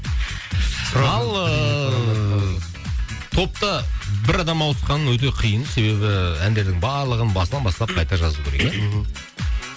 ал ыыы топта бір адам ауысқаны өте қиын себебі әндердің барлығын басынан бастап қайта жазу керек иә мхм